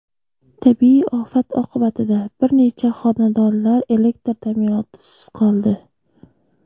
Tabiiy ofat oqibatida bir necha xonadonlar elektr ta’minotisiz qoldi.